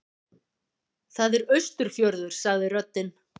Það er Austurfjörður, sagði röddin.